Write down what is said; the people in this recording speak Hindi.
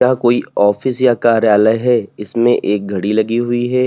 कोई ऑफिस या कार्यालय है इसमें एक घड़ी लगी हुई है।